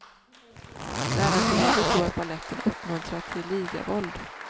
Lärarkolleger tror att baletten uppmuntrar till ligavåld.